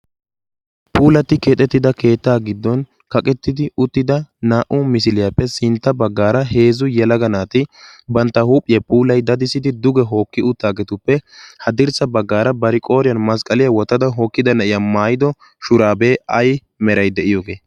puulati keexettida keettaa giddon kaqettidi uttida naa''u misiliyaappe sintta baggaara heezzu yalaga naati bantta huuphiya puulai dadisidi duge hookki uttaageetuppe ha dirssa baggaara bari qooriyan masqqaliyaa wotada hookkida ne'iya maayido shuraabee ai meray de'iyoogee